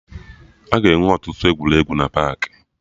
Aga enwe ọtụtụ egwuregwu na paakị